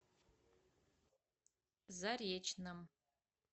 заречном